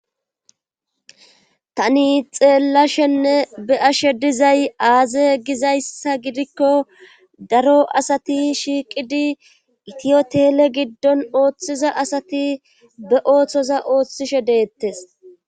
Tani xeellashenne be ashe dizay aaze gizayssa gidikko daro asati shiiqidi itiyotele giddon ooththiza asati be ooththoza ooththishe deettes.